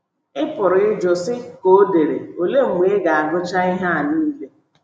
Ị pụrụ ịjụ, sị ,ka o dere, Olee mgbe ị ga - agụcha ihe a nile?